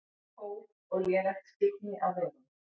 Kóf og lélegt skyggni á vegum